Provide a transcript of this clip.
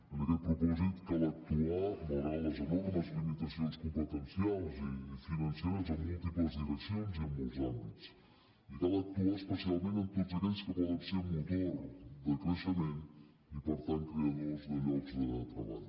amb aquest propòsit cal actuar malgrat les enormes limitacions competencials i financeres en múltiples direccions i en molts àmbits i cal actuar especialment en tots aquells que poden ser motor de creixement i per tant creadors de llocs de treball